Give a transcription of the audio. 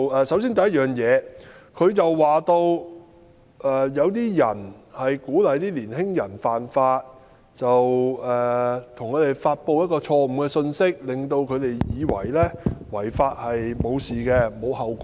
首先，她說有人鼓勵年輕人犯法，向他們散播錯誤信息，令他們以為違法沒有問題，無須承擔後果。